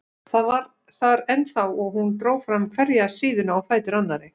Það var þar ennþá og hún dró fram hverja síðuna á fætur annarri.